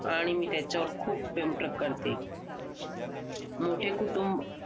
आणि मी त्याच्यावर खूप प्रेमपग करते मोठे कुटुंब